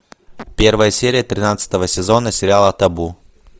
первая серия тринадцатого сезона сериала табу